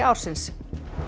ársins